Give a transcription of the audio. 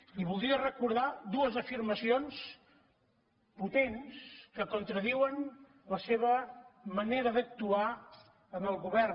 li voldria recordar dues afirmacions potents que contradiuen la seva manera d’actuar en el govern